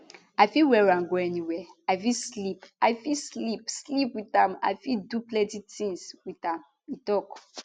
i fit wear am go anywia i fit sleep i fit sleep sleep wit am i fit do plenti tins wit am e tok